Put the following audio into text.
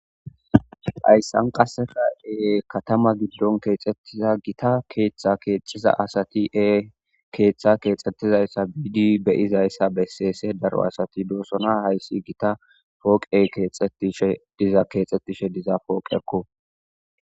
hayssan qassefade katama giddon keexxettiza gita keeththa keexiza asati ee keeththa keexxettizayssa biidi beyizayssa besseese daro asati doosona hayssi gita pooqe shediza keexxettishe diza pooqekko